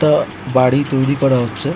একটা বাড়ি তৈরি করা হচ্ছে।